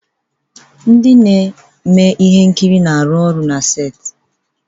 Ndị na-eme ihe nkiri na-arụ ọrụ na seti